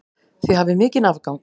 Þið hafið mikinn afgang.